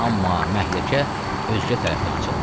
Amma məhləkə özkə tərəfdən açıldı.